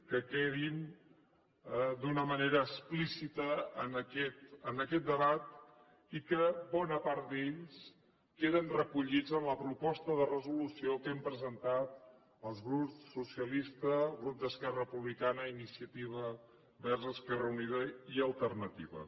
que quedin d’una manera explícita en aquest debat i que bona part d’ells queden recollits en la proposta de resolució que hem presentat el grup socialistes el grup d’esquerra republicana i iniciativa verds esquerra unida i alternativa